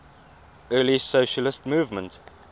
early socialist movement